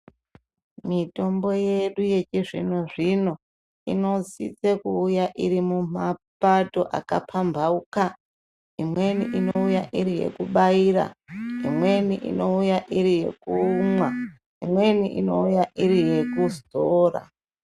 Mitombo yedu yechizvino-zvino inosise kuuya iri mumapato akapambauka. Imweni inouya iri yekubaira, imweni inouya iri yekumwa, imweni inouya iri yekuzora.